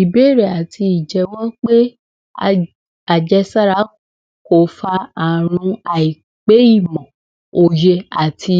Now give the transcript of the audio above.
Ìbéèrè àti ìjẹ́wọ́ pé àjẹsára kò fa àrùn àìpé ìmọ̀ àti